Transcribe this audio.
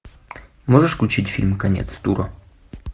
можешь включить фильм конец тура